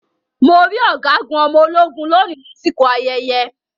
Mo rí Ọ̀gágun ọmọ ológun lóni lásìkò ayẹyẹ.